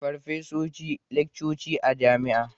Farfesoshi laccoci a jami'a